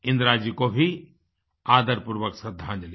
इंदिराजी को भी आदरपूर्वक श्रद्धांजलि